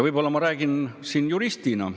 Ma räägin siin juristina.